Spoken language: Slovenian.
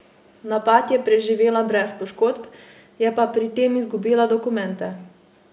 Napad je preživela brez poškodb, je pa pri tem izgubila dokumente.